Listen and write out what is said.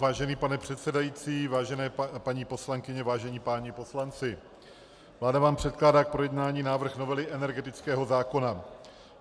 Vážený pane předsedající, vážené paní poslankyně, vážení páni poslanci, vláda vám předkládá k projednání návrh novely energetického zákona.